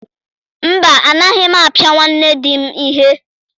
Mba, agaghị m apịa nwa di m ihe.